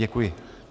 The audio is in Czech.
Děkuji.